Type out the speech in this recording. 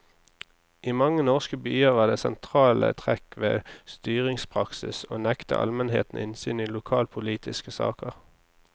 I mange norske byer var det sentrale trekk ved styringspraksis å nekte almenheten innsyn i lokalpolitiske saker.